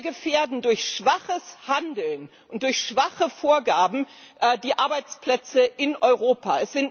Wir gefährden durch schwaches Handeln und durch schwache Vorgaben die Arbeitsplätze in Europa.